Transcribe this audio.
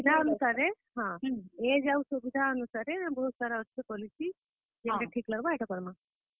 ନିଜର ସୁବିଧା ଅନୁସାରେ ବହୁତ୍ ସାରା ଆସୁଛେ policy ଯେନ୍ ଠିକ୍ ଲାଗବା ହେଟା କର୍ ମା।